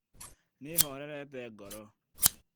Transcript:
nĩhorerete ngoro